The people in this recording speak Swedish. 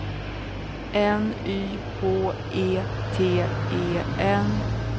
N Y H E T E N